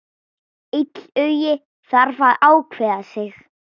Illugi þarf að ákveða sig.